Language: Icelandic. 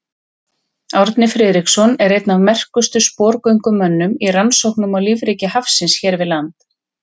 Árni Friðriksson er einn af merkustu sporgöngumönnum í rannsóknum á lífríki hafsins hér við land.